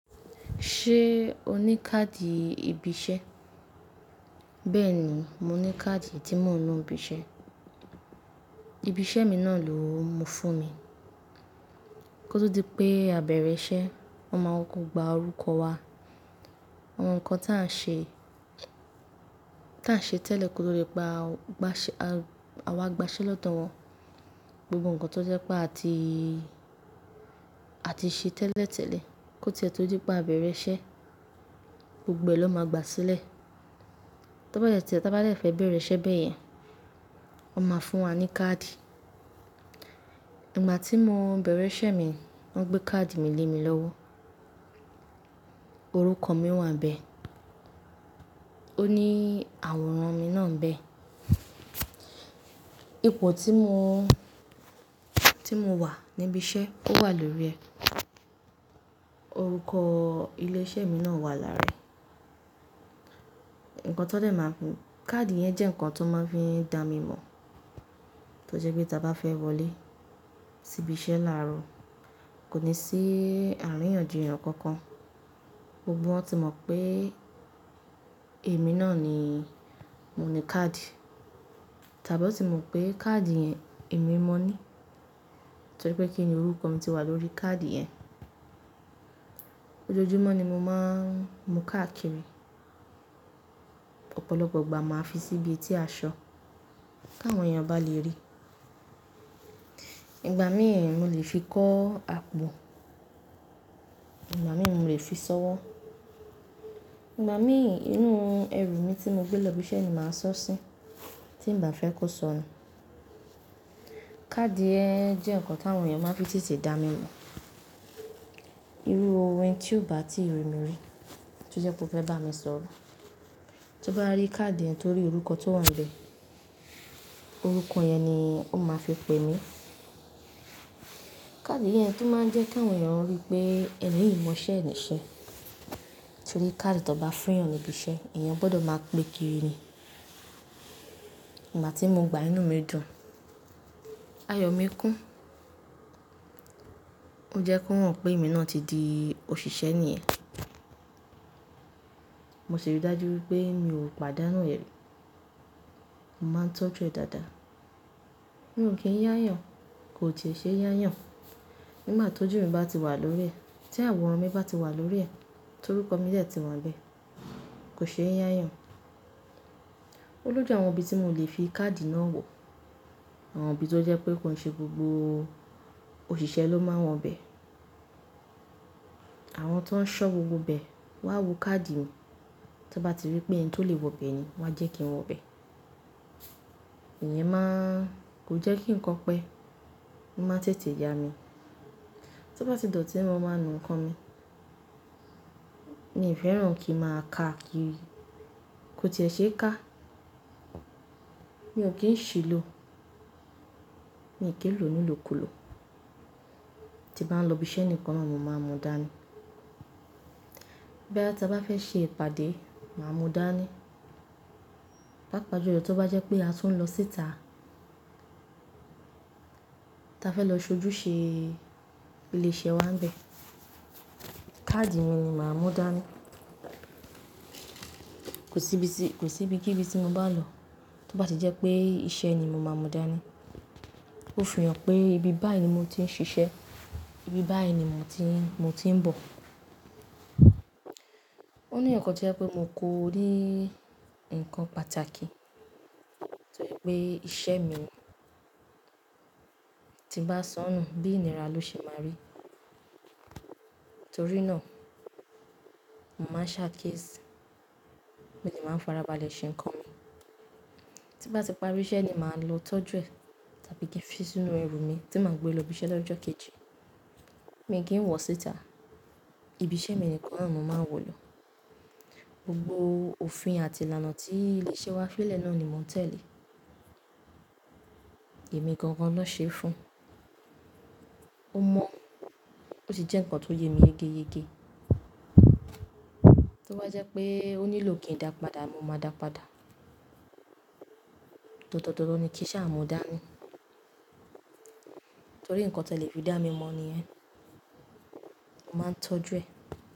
Ṣé o ní káàdì ibi iṣẹ́? Bẹ́ẹ̀ni, mo ní káàdì tí mò ń lo n bi iṣẹ́. Ibi iṣẹ́ mi náà ló mú fún mi. Kó tó di pé a bẹ̀rẹ̀ iṣẹ́, wọ́n máa kọko gba orúkọ wa, àwọn nǹkan táa n ṣe, táa n ṣe tẹ́lẹ̀ kó tó dí pé àwa gbaṣẹ́ lọ́dọ̀ wọn. Gbogbo nǹkan tó jẹ́ pé àti, àti ṣe tẹ́lẹ̀tẹ́lẹ̀ kó ti e to di pé a bẹ̀rẹ̀ iṣẹ́, gbogbo ẹ lọ́ máa gba sílẹ̀. Tọ́ bá yẹ tí a bá de fẹ́ bẹ̀rẹ̀ iṣẹ́ bẹ́ẹ̀ yẹn, wọ́n máa fún wa ní káàdì. Ìgbà tí mo bẹ̀rẹ̀ iṣẹ́ mi, wọ́n gbé káàdì mi lé mi lọ́wọ́. Orúkọ mi wà níbẹ̀, ó ní àwòrán mi náà níbẹ̀. Ipo tí mo, tí mo wà ní ibi iṣẹ́ ó wà lórí ẹ, orúkọ ilé iṣẹ́ mi náà wà lára ẹ̀. Nǹkan tó dẹ̀ máa ń fún. Kaadi yẹn jẹ́ nǹkan tó máa ń fi dá mi mọ̀ tó jẹ́ pé tí a bá fẹ́ wọlé sí ibi iṣẹ́ láàárọ̀, kò ní sí àríyànjiyàn kankan. Gbogbo wọn ti mọ̀ pé èmi náà ni mo ní káàdì, tàbí won ti mọ̀ pé káàdì yẹn èmi mọ ní. Torí pé kí ni orúkọ mi ti wà lórí káàdì yẹn. Ojoojúmọ́ ni mo máa ń mu káàkiri, ọ̀pọ̀lọpọ̀ ìgbà máa fi sí ibi etí aṣọ kí àwọn èèyàn bá le rí. Ìgbà míì mò lè fi kọ́ àpò, ìgbà mi mò lè fi ṣọ́wọ́. Ìgbà míì inú ẹrù mi tí mo gbé lọ ibi iṣẹ́ ni màá sọ̀ sí tí n bá fẹ́ kó sọnù. Kaadi yẹn jẹ́ nǹkan tí àwọn èèyàn máa ń fi tètè dá mi mọ̀. Irú eni tí ò bá tí ri mi rí tí ó jẹ́ pé ó fẹ́ bá mi sọ̀rọ̀, tó bá rí káàdì yẹn torí orúkọ tí ó wà níbẹ̀, orúkọ yẹn ni ó máa fi pè mí. Kaadi yẹn tun máa ń jẹ́ kí àwọn èèyàn rí pé ẹni yìí mọ iṣẹ́ níṣẹ́. Torí káàdì tí wọ́n bá fún èèyàn ní ibi iṣẹ́ èèyàn gbọdọ̀ máa gbe kiri ni. Ìgbà tí mo gbà inú mi dun, ayọ̀ mi kún. Ó jẹ́ kó han pé èmi náà ti di òṣìṣẹ́ ní yen. Mo ṣiri dájú wípé mi ò pàdánù ẹ, mo máa ń tọ́jú ẹ dáadáa. Mi ò kí ń yá yàn, kò ti e ṣe yá yàn. Nígbà tó jù mí bá ti wà lórí ẹ̀, tí àwòrán mi bá ti wà lórí ẹ̀ torúkọ mi de ti wà níbẹ̀ kò ṣe yá yàn. O loju àwọn ibi tí mò lè fi káàdì náà wọ̀. Àwọn ibi tó jẹ́ pé kò n ṣe gbogbo òṣìṣẹ́ ló máa n wọ́n bẹ. Àwọn tó ń ṣọ́ gbogbo ibẹ, wọ́n á wo káàdì mi. Tọ́n bá ti rí pé ẹni tó lè wọ bẹ ni wọ́n á jẹ́ kí n wọ bẹ. Ìyẹn máa kò jẹ́ kí n kan pẹ́, o máa ń tètè ya mi. Tó bá ti dotí mo máa nu ńkan mi. Mi ò fẹ́ràn kí ń máa ká kiri, kò ti e ṣe ká. Mi ò kí ń ṣìlò, mi kí lò nílò kòlò. Tí bá ń lọ ibi iṣẹ́ nìkan ni mò máa ń múdání. Boyá tí a bá fẹ́ ṣe ìpàdé, màá múdání. Pápa ju lo tó bá jẹ́ pé a tún ń lọ síta, ta fẹ́ lọ ṣojú ṣe ilé iṣẹ́ wa nibẹ̀, káàdì mi ni màá múdání. Kò sí ibi tí, kò sí ibi kí ibi tí mo bá n lọ tó bá ti jẹ́ pé iṣẹ́ ni, mo máa ń múdání. Ó fi hàn pé ibi báyìí ni mo ti ń ṣiṣẹ́, ibi báyìí ni mò ti ń, mo ti ń bọ̀. Ó ní eyakan to jẹ́ pé mo kórí nǹkan pàtàkì torí pé iṣẹ́ mi tí n bá sọnù bí ìníra ló ṣe máa rí. Nítorí náà, mo màá n ṣàkiesì, mo si màá n farabalẹ̀ ṣe nǹkan mi. Tí bá ti parí iṣẹ́ ni màá lọ tọ́jú ẹ tàbí kí n fi sínú ẹrù mi tí màá gbé lọ ibi iṣẹ́ lọ́jọ́ kejì. Mi kì í wọ̀ síta. Ibi iṣẹ́ mi nìkan ni mò máa ń wọ̀ lọ. Gbogbo òfin àti ìlànà tí ilé iṣẹ́ wa fi lẹ̀ náà ni mò ń tẹ̀lé. Èmi gan-gan náà ṣe é fún un. Ó mọ̀ ó sì jẹ́ nǹkan tó yẹ mí gẹ́gẹ́gẹ́. Tó bá jẹ́ pé ó nílò kí n dàpadà, mo máa dàpadà. Dandan dandan ni kí saa múdání. Torí nǹkan te lè fi dá mi mọ̀ ní yẹn, mo màá ń tọ́jú ẹ.